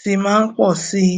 tí máa ń pọ síi